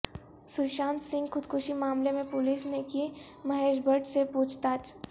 سوشانت سنگھ خودکشی معاملے میں پولیس نے کی مہیش بھٹ سے پوچھ تاچھ